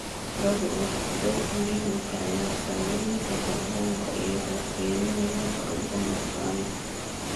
Carradu waxay door muhiim ah ka ciyaartaa wareegga kaarboonka iyagoo kaydinaya kaarboon organic.